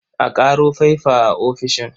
A ƙaro faifa a ofishin.